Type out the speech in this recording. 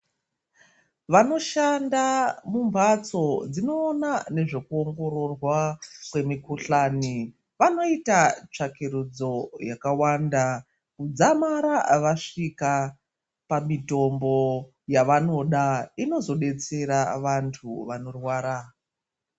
Vanoshanda mumbatso dzinoona nezvekuongororwa kwemikhuhlani vanoita tsvakiridzo yakawanda kudzamara vasvika pamitombo yavanoda inozodetsera vantu vanorwara.